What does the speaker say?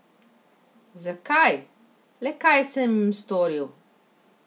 Zakaj, le kaj sem jim storil?